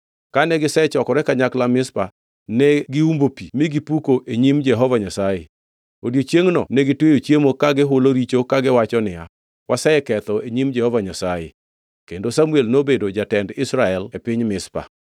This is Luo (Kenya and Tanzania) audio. Kane gisechokore kanyakla Mizpa ne giumbo pi mi gipuko e nyim Jehova Nyasaye. Odiechiengno negitweyo chiemo ka gihulo richo kagiwacho niya, “Waseketho e nyim Jehova Nyasaye.” Kendo Samuel nobedo jatend Israel e piny Mizpa.